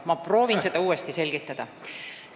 Ma proovin uuesti selgitada.